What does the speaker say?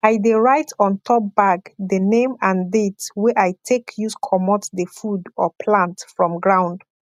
i dey write ontop bag the name and date wey i take use comot the food or plant from ground